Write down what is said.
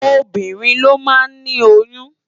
Óbirín ló má ni óyùn